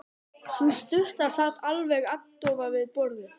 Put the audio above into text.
Sú stutta sat alveg agndofa við borðið.